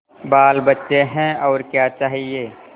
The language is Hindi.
बालबच्चे हैं और क्या चाहिए